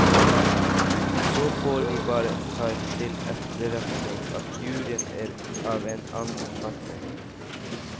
Så får vi bare ta til etterretning at juryen er av en annen oppfatning.